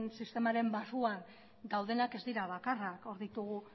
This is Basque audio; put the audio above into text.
sistemaren barruan daudenak ez dira bakarrak hor ditugu